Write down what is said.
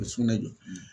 O sugunɛ don